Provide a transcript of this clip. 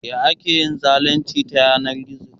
Ya ake yin zalunci ta yanar gizo?